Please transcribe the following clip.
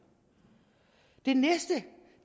det næste